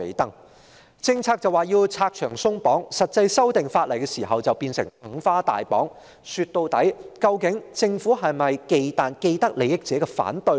當局表示要為政策拆牆鬆綁，但在實際修訂法例時則變成"五花大綁"，說到底，究竟政府是否忌憚既得利益者的反對呢？